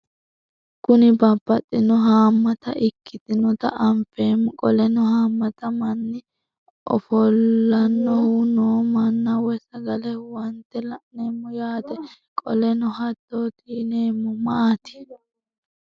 Kuni babaxino haamata ikitinotna anfemo qoleno hamata manni ofolanohu noo manna woyi sagale huwante la'nemo yaate qoleno hatoti yinemo maati